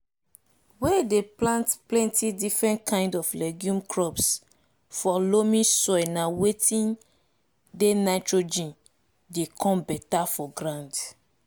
we dey plant penti different kind of legume crops for loamy soil na watin dey nitrogen dey come beta for ground